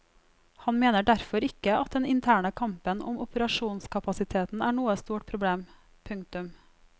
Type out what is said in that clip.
Han mener derfor ikke at den interne kampen om operasjonskapasiteten er noe stort problem. punktum